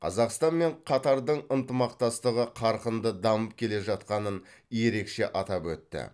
қазақстан мен қатардың ынтымақтастығы қарқынды дамып келе жатқанын ерекше атап өтті